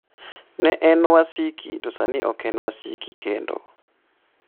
"""Ne en wasiki to sani ok en wasiki kendo."